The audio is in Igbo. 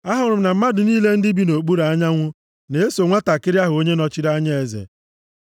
Ahụrụ m na mmadụ niile ndị bi nʼokpuru anyanwụ na-eso nwantakịrị ahụ onye nọchiri anya eze.